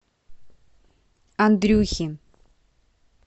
андрюхи